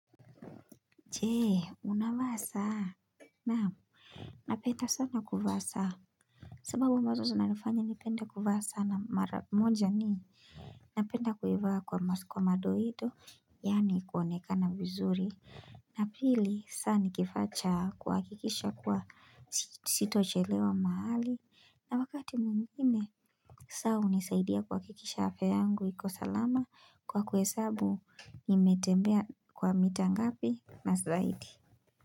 Chee unavaa saa naam napenda sana kuvaa saa sababu ambazo zinanifanya nipende kuvaa saa na mmoja ni napenda kuivaa kwa madoido yaani kuonekana vizuri na pili saa ni kifaa cha kuhakikisha kuwa sitochelewa mahali na wakati mwengine saa hunisaidia kuhakikisha afya yangu iko salama kwa kuhesabu nimetembea kwa mita ngapi na zaidi.